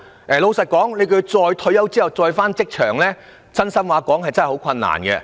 坦白說，要他們在退休後重返職場是很困難的。